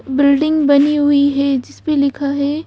Building बनी हुई है जिस पे लिखा है।